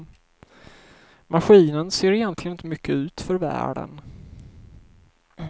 Maskinen ser egentligen inte mycket ut för världen.